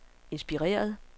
inspireret